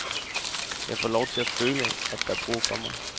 Jeg får lov til at føle, at der er brug for mig.